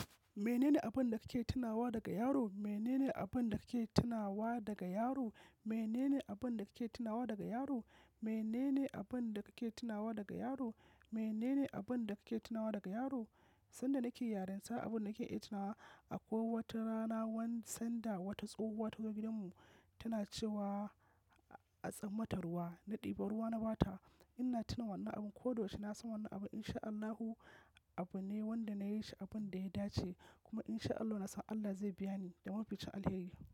Menene abin da kake tunawa daga yaro? Menene abin da kake tunawa daga yaro? Menene abin da kake tunawa daga yaro? Menene abin da kake tunawa daga yaro? Menene abin da kake tunawa daga yaro? Sanda nake yarin ta abin da ke iya tuna wa akwai wata rana wan-- sanda wata tsohuwa tazo gidanmu tana cewa a tsammata ruwa na ɗiba ruwa na ba ta. Ina tuna wannan abin, ko da yaushe na san wannan abin in sha Allahu abu ne wanda na yi shi abin da ya dace. Kuma in sha Allahu na san Allah zai biya ni da mafificin alheri.